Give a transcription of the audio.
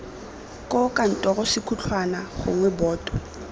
koo kantoro sekhutlhwana gongwe boto